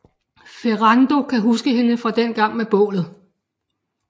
Ferrando kan huske hende fra dengang med bålet